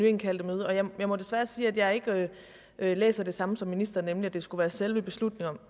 indkaldte møde og jeg må desværre sige at jeg ikke læser det samme som ministeren nemlig at det skulle være selve beslutningen